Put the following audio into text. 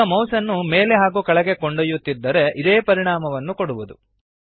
ಈಗ ಮೌಸ್ಅನ್ನು ಮೇಲೆ ಹಾಗೂ ಕೆಳಗೆ ಕೊಂಡೊಯ್ಯುತ್ತಿದ್ದರೆ ಇದೇ ಪರಿಣಾಮವನ್ನು ಕೊಡುವದು